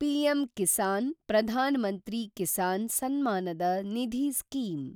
PM-Kisan (Pradhan Mantri Kisan summon Nidhi) scheme